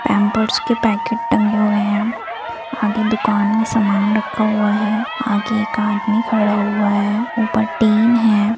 Pampers के packet टंगे हुए हैं आगे दुकान में सामान रखा हुआ है आगे एक आदमी खड़ा हुआ है ऊपर टिन है।